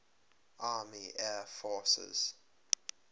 army air forces